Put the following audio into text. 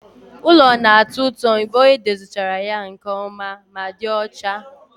Ulo na-atọ ụtọ mgbe edozichara ya nke ọma ma dị ọcha